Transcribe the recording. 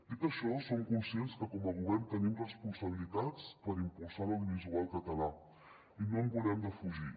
dit això som conscients que com a govern tenim responsabilitats per impulsar l’audiovisual català i no en volem defugir